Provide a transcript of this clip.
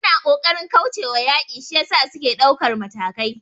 Suna kokarin kaucewa yaki shiyasa suke daukar matakai